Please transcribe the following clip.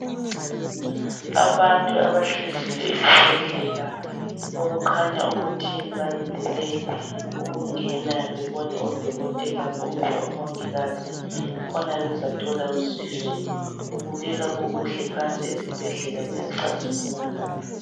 Abantu abahleziyo esibhedlela okukhanya ukuthi balindele ukungena bebone odokotela kumbe omongikazi khona bezathola usizo kubukeka kukuhle phansi esibhedlela kuyacazimula.